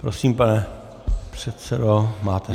Prosím, pane předsedo, máte slovo.